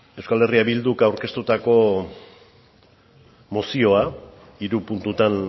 euskal herria bilduk aurkeztutako mozioa hiru puntutan